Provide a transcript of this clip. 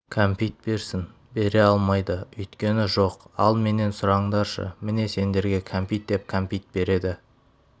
кәмпит берсін бере алмайды өйткені жоқ ал менен сұраңдаршы міне сендерге кәмпит деп кәмпит береді